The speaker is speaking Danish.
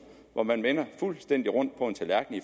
hvor man vender fuldstændig rundt på en tallerken i